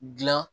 Dilan